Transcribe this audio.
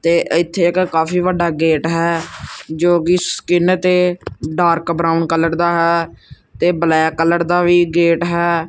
ਤੇ ਏੱਥੇ ਇੱਕ ਕਾਫੀ ਵੱਡਾ ਗੇਟ ਹੈ ਕੋ ਕਿ ਸਕਿਨ ਤੇ ਡਾਰਕ ਬਰਾਊਨ ਕਲਰ ਦਾ ਹੈ ਤੇ ਬਲੈਕ ਕਲਰ ਦਾ ਵੀ ਗੇਟ ਹੈ।